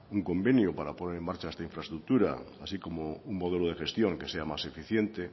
un convenio para poner en marcha esta infraestructura así como un modelo de gestión que sea más eficiente